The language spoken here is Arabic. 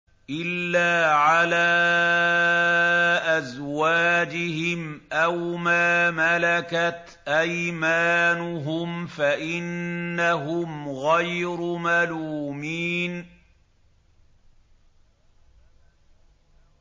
إِلَّا عَلَىٰ أَزْوَاجِهِمْ أَوْ مَا مَلَكَتْ أَيْمَانُهُمْ فَإِنَّهُمْ غَيْرُ مَلُومِينَ